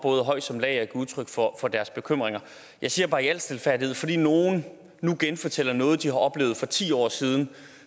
høj som lav at give udtryk for deres bekymringer jeg siger bare i al stilfærdighed at fordi nogle nu genfortæller noget de oplevede for ti år siden